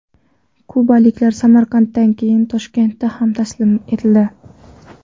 Kubaliklar Samarqanddan keyin Toshkentda ham taslim etildi.